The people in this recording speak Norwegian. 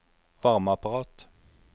varmeapparat